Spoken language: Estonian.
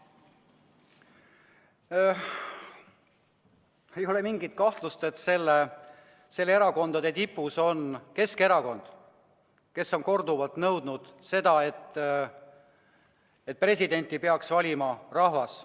Ei ole mingit kahtlust, et nende erakondade tipus on Keskerakond, kes on korduvalt nõudnud, et presidenti peaks valima rahvas.